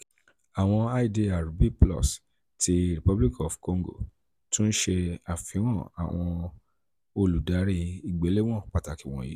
awọn idr "b +" ti republic of congo tun ṣe afihan awọn oludari igbelewọn pataki wọnyi: